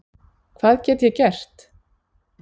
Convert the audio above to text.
Hvað get ég gert?